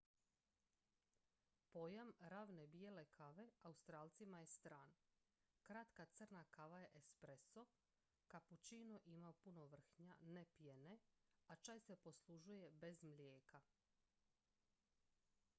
"pojam "ravne bijele" kave australcima je stran. kratka crna kava je "espresso" capuccino ima puno vrhnja ne pjene a čaj se poslužuje bez mlijeka.